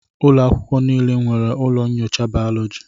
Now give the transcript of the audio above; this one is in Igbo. Ụlọ akwụkwọ niile e nwere ụlọ nyocha bayoloji